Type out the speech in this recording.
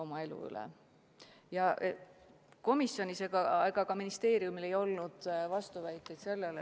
Ja ei komisjonil ega ka ministeeriumil ei olnud sellele vastuväiteid.